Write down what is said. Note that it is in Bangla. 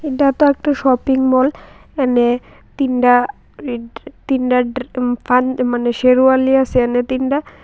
এডা তো একটা শপিংমল এনে তিনডা তিনডা ড্রে ফান মানে শেরওয়ালিয়া আসে এনে তিনডা।